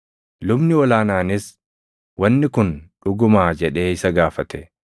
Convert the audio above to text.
Lubni ol aanaanis, “Wanni kun dhugumaa?” jedhee isa gaafate.